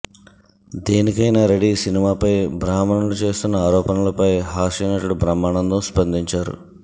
దేనికైనా రెడీ సినిమాపై బ్రాహ్మణులు చేస్తున్న ఆరోపణలపై హాస్య నటుడు బ్రహ్మానందం స్పందించారు